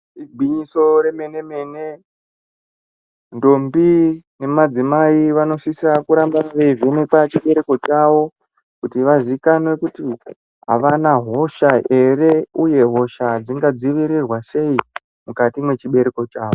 Igwinyiso remene mene ndombi nemadzimai vanosisa kuramba veivhenekwa chibereko chawo kuti vazikanwe kuti avana hosha ere uye hosha dzingadzivirirwa sei mukati mwechibereko chawo.